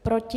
Proti?